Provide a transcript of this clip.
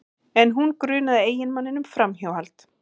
En hún grunaði eiginmanninn um framhjáhald